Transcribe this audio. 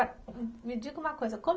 me diga uma coisa como.